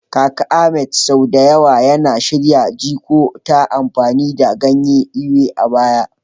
Kaka Ahmed sau da yawa yana shirya jiko ta amfani da ganyen Ewe a baya.